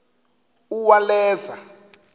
uwaleza